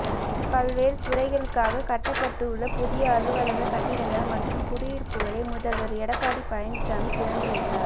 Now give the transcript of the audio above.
பல்வேறு துறைகளுக்காக கட்டப்பட்டுள்ள புதிய அலுவலக கட்டிடங்கள் மற்றும் குடியிருப்புகளை முதல்வர் எடப்பாடி பழனிசாமி திறந்து வைத்தார்